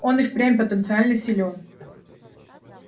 он и впрямь потенциально силен